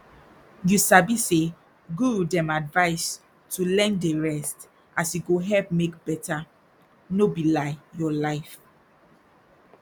you sabi say guru dem advise to learn dey rest as e go help make better no be lie your life